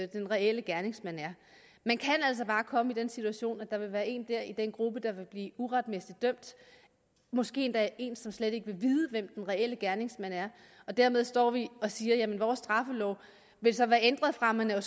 den reelle gerningsmand er man kan altså bare komme i den situation at der kan være en i den gruppe der vil blive uretmæssigt dømt måske endda en som slet ikke ved hvem den reelle gerningsmand er dermed står vi og siger jamen vores straffelov vil så være ændret fra at man er